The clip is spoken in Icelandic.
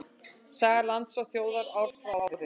Saga lands og þjóðar ár frá ári.